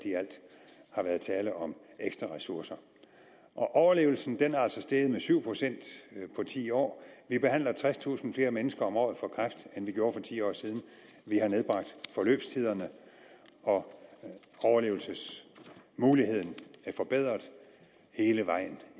har været tale om ekstra ressourcer overlevelsen er altså steget med syv procent på ti år vi behandler tredstusind flere mennesker om året for kræft end vi gjorde for ti år siden vi har nedbragt forløbstiderne og overlevelsesmuligheden er forbedret hele vejen